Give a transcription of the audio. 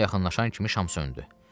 Şama yaxınlaşan kimi şam söndü.